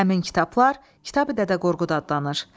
Həmin kitablar Kitabi-Dədə Qorqud adlanır.